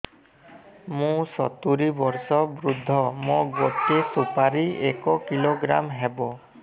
ମୁଁ ସତୂରୀ ବର୍ଷ ବୃଦ୍ଧ ମୋ ଗୋଟେ ସୁପାରି ଏକ କିଲୋଗ୍ରାମ ହେବ